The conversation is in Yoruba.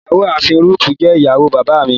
Ìyá àafin Rúutù jẹ́ ìyàwó bàbá mi.